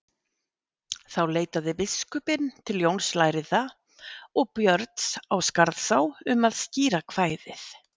Þá leitaði biskupinn til Jóns lærða og Björns á Skarðsá um að skýra kvæðið.